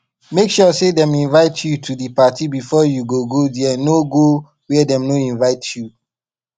make sure say dem invite you to di parti before you go there no go where dem no invite you